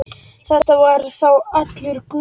Þetta var þá allur galdur.